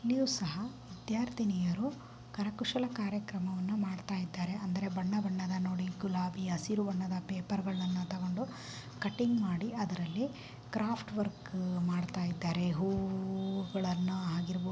ಇಲ್ಲಿ ಸಹ ವಿದ್ಯಾರ್ಥಿನಿಯರು ಕರ ಕುಶಲ ಕಾರ್ಯಕ್ರಮವನ್ನ ಮಾಡ್ತಾಯಿದ್ದಾರೆ ಅಂದರೇ ಬಣ್ಣ ಬಣ್ಣದ ನೋಡಿ ಗುಲಾಬಿ ಹಸಿರು ಬಣ್ಣದ ಪೇಪರ್ಗ ಳನ್ನ ತಗೊಂಡು ಕಟಿಂಗ್ ಮಾಡಿ ಅದರಲ್ಲಿ ಕ್ರಾಫ್ಟ್ವರ್ಕ್ ಮಾಡ್ತಾಯಿದಾರೆ ಹೂಗಳನ್ನ ಆಗಿರಬಹುದು --